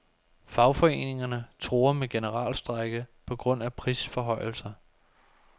Fagforeningerne truer med generalstrejke på grund af prisforhøjelser.